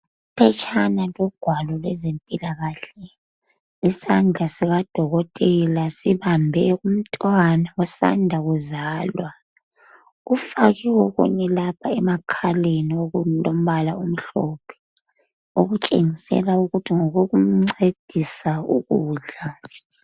Iphetshana logwalo lwezempilakahle, isandla sikadokotela sibambe umntwana osanda kuzalwa. Ufakiwe okunye lapha emakhaleni okungumbala omhlophe okutshengisela ukuthi ngokokumncedisa ukudla.